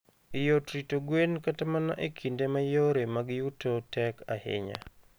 Yot rito gwen kata mana e kinde ma yore mag yuto tek ahinya.